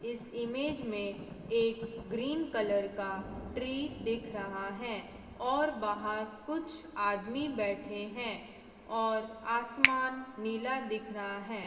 इस इमेज मे एक ग्रीन कलर का ट्री दिख रहा है और बाहर कुछ आदमी बैठे हैं और आसमान नीला दिख रहा है।